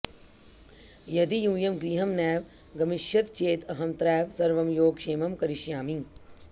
यदि यूयं गृहं नैव गमिष्यथ चेत् अहमत्रैव सर्वं योगक्षेमं करिष्यामि